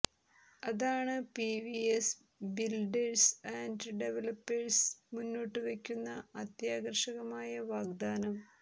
അതാണ് PVS builders and developers മുന്നോട്ട് വക്കുന്ന അത്യാകര്ഷകമായ വാഗ്ദാനം